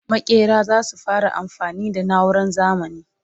makera zasu fara amfani da nauran zamani